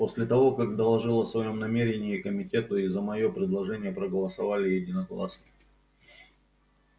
после того как доложил о своём намерении комитету и за моё предложение проголосовали единогласно